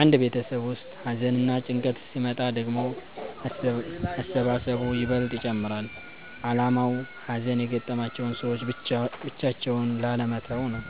አንድ ቤተሰብ ውስጥ ሀዘንና ጭንቀት ሲመጣ ደግሞ መሰባሰቡ ይበልጥ ይጨመራል አላማውም ሀዘን የገጠማቸውን ሰዎች ብቻቸውን ላለመተው ነው።